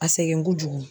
A sɛgɛn kojugu